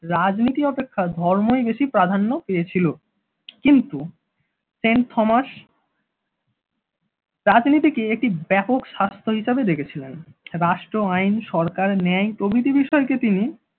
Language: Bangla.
রাজনীতি অপেক্ষা ধর্মই বেশি প্রাধান্য পেয়েছিল। কিন্তু সেন্ট থমাস রাজনীতিকে একটি ব্যাপক স্বাস্থ হিসেবে দেখেছিলেন রাষ্ট্র আই সরকার ন্যায় প্রভৃতি বিষয়কে তিনি